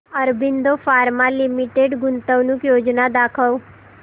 Aurobindo pharma limited गुंतवणूक योजना दाखव